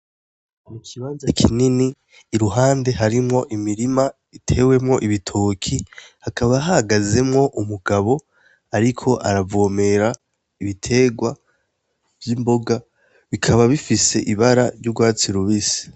Ni ikibanza kinini, iruhande harimwo imirima itewemwo ibitoki, hakaba hahagezemwo umugabo ariko aravomera ibiterwa vy' imboga, bikaba bifise ibara ry'urwatsi rubisi.